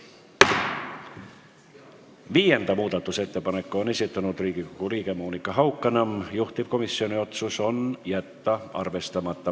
Viienda muudatusettepaneku on esitanud Riigikogu liige Monika Haukanõmm, juhtivkomisjoni otsus: jätta arvestamata.